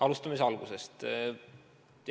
Alustame siis algusest.